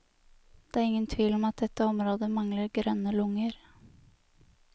Det er ingen tvil om at dette området mangler grønne lunger.